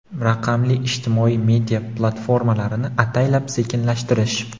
raqamli ijtimoiy media platformalarini ataylab sekinlashtirish;.